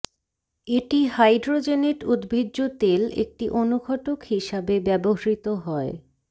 এটি হাইড্রোজেনেট উদ্ভিজ্জ তেল একটি অনুঘটক হিসাবে ব্যবহৃত হয়